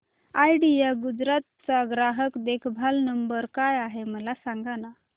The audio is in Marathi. आयडिया गुजरात चा ग्राहक देखभाल नंबर काय आहे मला सांगाना